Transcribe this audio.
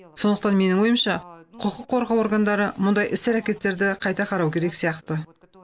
сондықтан менің ойымша құқық қорғау органдары мұндай іс әрекеттерді қайта қарау керек сияқты